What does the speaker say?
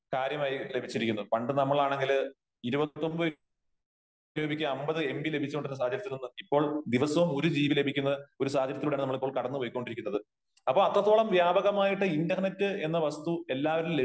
കാര്യമായി ലഭിച്ചിരിക്കുന്നു. പണ്ട് നമ്മളാണെങ്കില് 29 രൂപയ്ക്ക് 50 എം ബി ലഭിച്ചു കൊണ്ടിരുന്ന സാഹചര്യത്തിൽ നിന്ന് ഇപ്പോൾ ദിവസവും ഒരു ജി ബി ലഭിക്കുന്ന ഒരു സാഹചര്യത്തിലൂടെയാണ് നമ്മളിപ്പോ കടന്ന് പൊയ്ക്കൊണ്ടിരിക്കുന്നത് . അപ്പോ അത്രത്തോളം വ്യാപകമായിട്ട് ഇന്റർനെറ്റ് എന്ന വസ്തു എല്ലാവരിലും